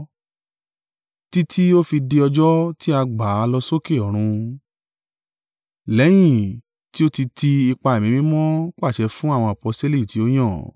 títí ó fi di ọjọ́ tí a gbà á lọ sókè ọ̀run, lẹ́yìn tí ó ti ti ipa Ẹ̀mí Mímọ́ pàṣẹ fún àwọn aposteli tí ó yàn.